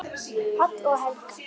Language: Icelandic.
Páll og Helga.